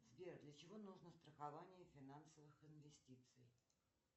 сбер для чего нужно страхование финансовых инвестиций